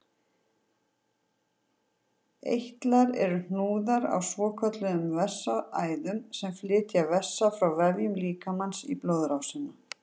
Eitlar eru hnúðar á svokölluðum vessaæðum sem flytja vessa frá vefjum líkamans í blóðrásina.